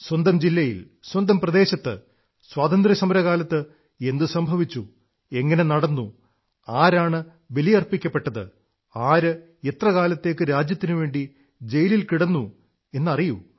സ്വന്തം ജില്ലയിൽ സ്വന്തം പ്രദേശത്ത് സ്വാതന്ത്ര്യസമരകാലത്ത് എന്തു സംഭവിച്ചു എങ്ങനെ നടന്നു ആരാണ് ബലിയർപ്പിക്കപ്പെട്ടത് ആര് എത്ര കാലത്തേക്ക് രാജ്യത്തിനുവേണ്ടി ജയിലിൽ കിടന്നു എന്നറിയൂ